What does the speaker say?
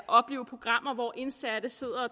opleve programmer hvor indsatte sidder